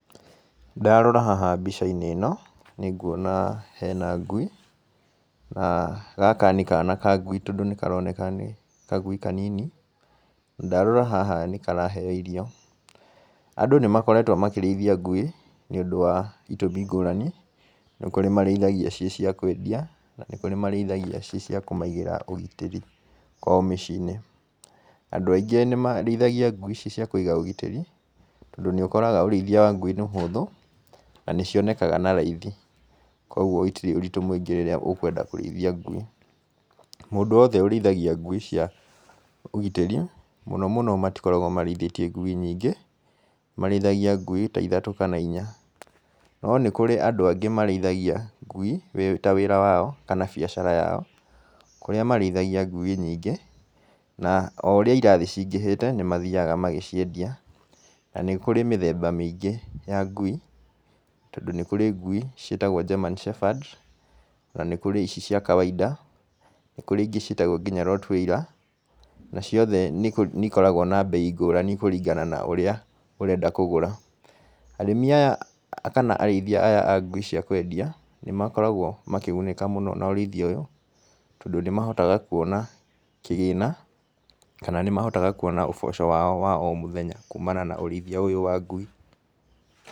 Ndarora haha mbica-inĩ ĩno, nĩ nguona hena ngui, na gaka nĩ kana ka ngui tondũ nĩ karoneka nĩ kagui kanini. Ndarora haha nĩ karaheyo irio. Andũ nĩ makoretwo makĩrĩithia ngui, nĩ ũndũ wa itũmi ngũrani, nĩ kũrĩ marĩithagia ci cia kwendia, na nĩ kũrĩ marĩithagia ci cia kũmaigĩra ũgitĩri kwao mĩciĩ-inĩ. Andũ aingĩ nĩ marĩithagia ngui ci cia kũiga ũgitĩri, tondũ nĩ ũkoraga ũrĩithia wa ngui nĩ mũhũthũ, na nĩ cionekaga na raithi. Kũguo itirĩ ũritũ mũingĩ rĩrĩa ũkwenda kũrĩithia ngui. Mũndũ wothe ũrĩithagia ngui cia ũgitĩri, mũno mũno matokoragwo marĩithĩtie ngui nyingĩ, marĩithagia ngui ta ithatũ kana inya. No nĩ kũrĩ andũ angĩ marĩithagia ngui, wĩ ta wĩra wao, kana biacara yao. Kũrĩa marĩithagia ngui nyingĩ, na o ũrĩa irathi cingĩhĩte, nĩ mathiaga magĩciendia. Na nĩ kũrĩ mĩthemba mĩingĩ ya ngui, tondũ nĩ kũrĩ ngui ciĩtagwo, German Shepherd, na nĩ kũrĩ ici cia kawainda, nĩ kũrĩ ingĩ ciĩtagwo nginya Rottweiler, na ciothe nĩ nĩ ikoragwo na mbei ngũrani kũringana na ũrĩa ũrenda kũgũra. Arĩmi aya kana arĩithia aya a ngui cia kwendia, nĩ makoragwo makĩgunĩka mũno na ũrĩithia ũyũ, tondũ nĩ mahotaga kuona kĩgĩna, kana nĩ mahotaga kuona ũboco wao wa o mũthenya kumana na ũrĩithia ũyũ wa ngui.